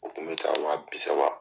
U kun bɛ ta wa bi saba.